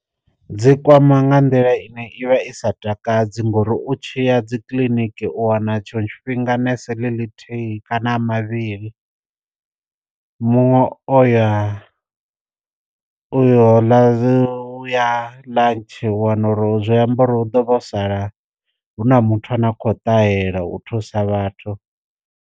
Dzi kwama nga nḓila ine i vha i sa takadzi ngori u tshiya dzi kiḽiniki u wana tshiṅwe tshifhinga nese ḽi ḽithihi kana a mavhili, muṅwe o ya u yo ḽa u ya lunch u wana uri zwiambaro hu ḓo sala hu na muthu ane a kho ṱahela u thusa vhathu.